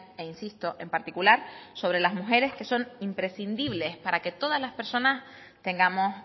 e insisto en particular sobre las mujeres que son imprescindibles para que todas las personas tengamos